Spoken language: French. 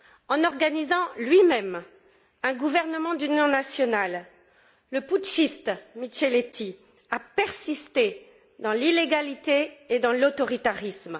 En organisant lui même un gouvernement d'union nationale, le putschiste Micheletti a persisté dans l'illégalité et dans l'autoritarisme.